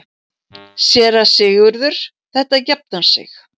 SÉRA SIGURÐUR: Þetta jafnar sig.